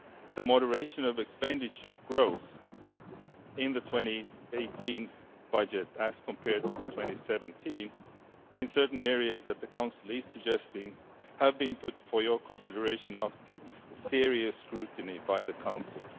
The moderation of expenditure growth in the 2018 budget, as compared to the 2017 in certain areas that the Council is suggesting, have been put for your consideration after serious scrutiny by the Council.